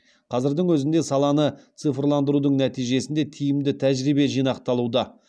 қазірдің өзінде саланы цифрландырудың нәтижесінде тиімді тәжірибе жинақталуда